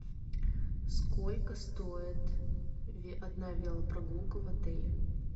сколько стоит одна велопрогулка в отеле